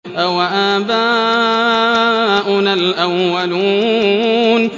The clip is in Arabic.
أَوَآبَاؤُنَا الْأَوَّلُونَ